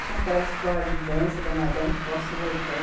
Tinha aquelas escolas de dança da Madame Posse Leitão.